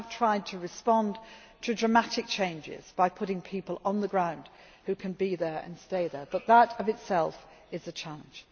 in Myanmar we have tried to respond to dramatic changes by putting people on the ground who can be there and stay there, but that of itself is